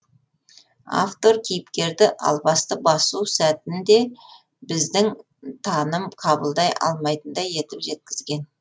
автор кейіпкерді албасты басу сәтін де біздің таным қабылдай алатындай етіп жеткізген